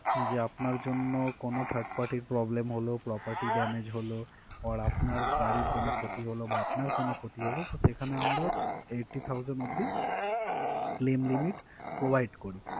যে আপনার জন্য কোনো third party problem হলো কারো property damage হলো or আপনার গাড়ির কোনো ক্ষতি হলো বা আপনার কোনো ক্ষতি হলো তো সেখানে আমরা eighty thousand অবধি claim limit provide করি